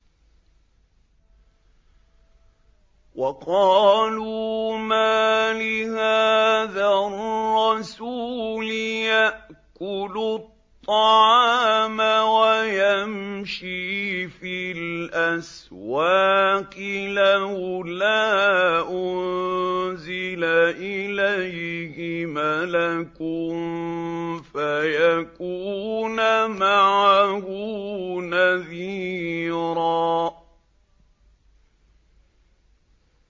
وَقَالُوا مَالِ هَٰذَا الرَّسُولِ يَأْكُلُ الطَّعَامَ وَيَمْشِي فِي الْأَسْوَاقِ ۙ لَوْلَا أُنزِلَ إِلَيْهِ مَلَكٌ فَيَكُونَ مَعَهُ نَذِيرًا